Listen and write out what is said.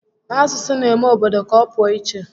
Asụsụ n'eme obodo ka ọ pụọ íchè